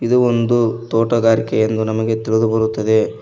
ಇದು ಒಂದು ತೋಟಗಾರಿಕೆ ಎಂದು ನಮಗೆ ತಿಳಿದು ಬರುತ್ತದೆ.